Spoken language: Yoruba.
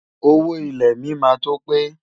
Owó ilẹ̀ mi máa tó pé.